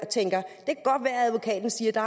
der